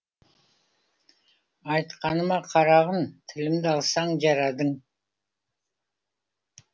айтқаныма қарағын тілімді алсаң жарадың